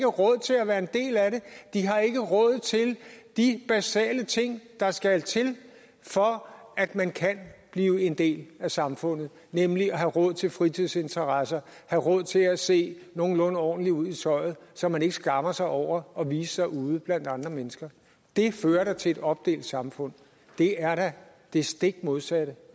råd til at være en del af det de har ikke råd til de basale ting der skal til for at man kan blive en del af samfundet nemlig at have råd til fritidsinteresser have råd til at se nogenlunde ordentlig ud i tøjet så man ikke skammer sig over at vise sig ude blandt andre mennesker det her fører til et opdelt samfund det er da det stik modsatte